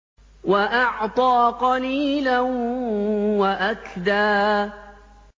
وَأَعْطَىٰ قَلِيلًا وَأَكْدَىٰ